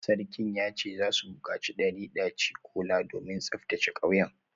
Sarkin ya ce za su bukaci dari daci-kola domin tsaftace kauyen